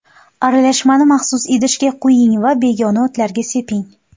Aralashmani maxsus idishga quying va begona o‘tlarga seping.